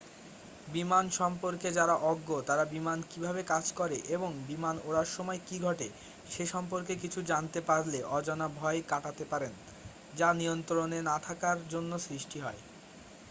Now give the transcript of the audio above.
বিমান সম্পর্কে যারা অজ্ঞ তারা বিমান কীভাবে কাজ করে এবং বিমান ওড়ার সময় কী ঘটে সে সম্পর্কে কিছু জানতে পারলে অজানা ভয় কাটাতে পারেন যা নিয়ন্ত্রণে না থাকার জন্য সৃষ্টি হয়